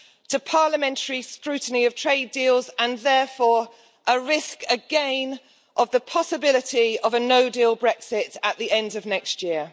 to parliamentary scrutiny of trade deals, and therefore a risk again of the possibility of a no deal Brexit at the end of next year.